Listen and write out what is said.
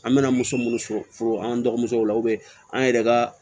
An bɛna muso minnu sɔrɔ foro an dɔgɔmuso la an yɛrɛ ka